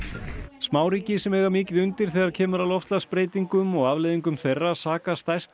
smáríki sem eiga mikið undir þegar kemur að loftslagsbreytingum og afleiðingum þeirra saka stærstu